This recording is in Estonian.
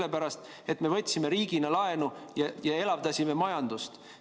Sellepärast, et me võtsime riigina laenu ja elavdasime majandust.